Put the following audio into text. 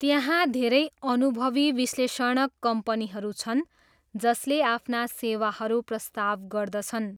त्यहाँ धेरै अनुभवी विश्लेषणक कम्पनीहरू छन् जसले आफ्ना सेवाहरू प्रस्ताव गर्दछन्।